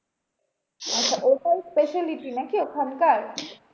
আচ্ছা ওটাই speciality নাকি ওখানকার?